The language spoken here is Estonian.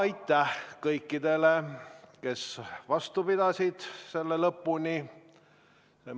Aitäh kõikidele, kes istungi lõpuni vastu pidasid!